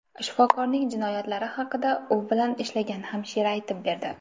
Shifokorning jinoyatlari haqida u bilan ishlagan hamshira aytib berdi.